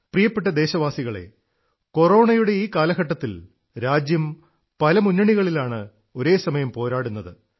പ്രിയപ്പെട്ട ദേശവാസികളേ കൊറോണയുടെ ഈ കാലഘട്ടത്തിൽ രാജ്യം പല മുന്നണികളിലാണ് ഒരേസമയം പോരാടുന്നത്